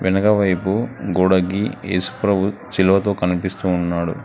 వెనకవైపు గోడగి ఏసుప్రభు శిలువతో కనిపిస్తూ ఉన్నాడు.